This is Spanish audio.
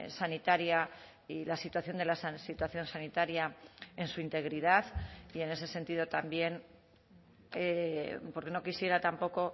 sanitaria y la situación de la situación sanitaria en su integridad y en ese sentido también porque no quisiera tampoco